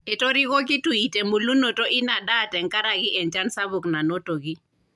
Etoriko Kitui te mbulunoto ina daa tenkaraki enchan sapuk nanotoki.